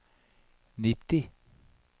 nitti